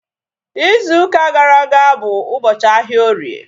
Izu ụka gara aga bụ ụbọchị ahịa orie